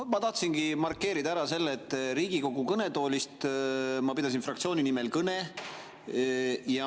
Ma tahtsingi markeerida ära selle, et Riigikogu kõnetoolist ma pidasin kõne fraktsiooni nimel.